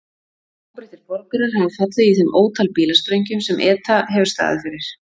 Margir óbreyttir borgarar hafa fallið í þeim ótal bílasprengjum sem ETA hefur staðið fyrir.